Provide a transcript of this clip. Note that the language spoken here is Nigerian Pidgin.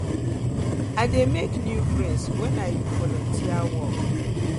i dey make new friends wen i friends wen i do volunteer work